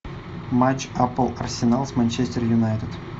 матч апл арсенал с манчестер юнайтед